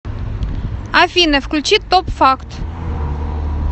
афина включи топ факт